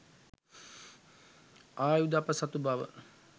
ආයුධ අප සතු බව